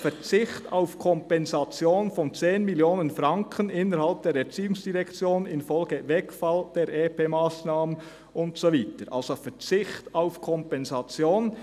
«Verzicht auf Kompensation von 10 Mio. Franken innerhalb der Erziehungsdirektion infolge des Wegfalls der EP18-Massnahme […]»– also ein Verzicht auf Kompensation.